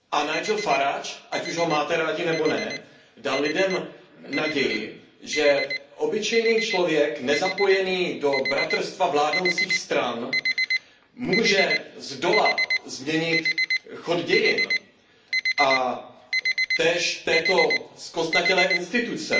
Nigel Farage, ať už ho máte rádi nebo ne, dal lidem naději, že obyčejný člověk nezapojený do bratrstva vládnoucích stran může zdola změnit chod dějin a též této zkostnatělé instituce.